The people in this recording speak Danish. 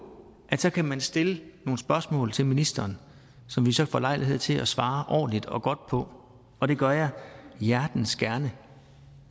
at så kan man stille nogle spørgsmål til ministeren som vi så får lejlighed til at svare ordentligt og godt på og det gør jeg hjertens gerne